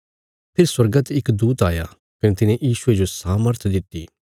फेरी स्वर्गा ते इक दूत आया कने तिने यीशुये जो सामर्थ दित्ति